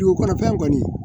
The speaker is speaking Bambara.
Dugukɔnɔfɛn kɔni